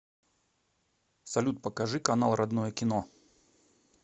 салют покажи канал родное кино